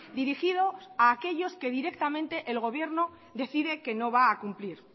dirigido a aquellos que directamente el gobierno decide que no va a cumplir